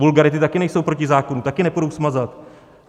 Vulgarity také nejsou proti zákonu, také nepůjdou smazat.